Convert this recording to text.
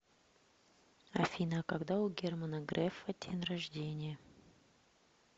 афина а когда у германа грефа день рождения